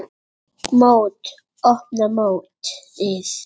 Mót: Opna mótið